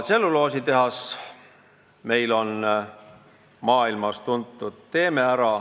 Meil on "Teeme ära!", mis on maailmas tuntud.